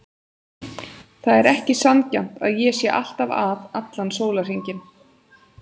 Það er ekki sanngjarnt að ég sé alltaf að allan sólarhringinn.